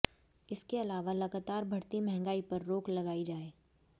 इसके अलावा लगातार बढ़ती महंगाई पर रोक लगाई जाये